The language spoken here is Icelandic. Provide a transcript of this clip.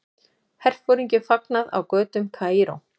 Herforingjum fagnað á götum Kaíró.